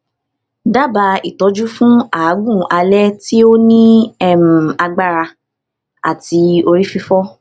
dabaa itoju fun agun ale ti o ni um agbara um ati ori fifo um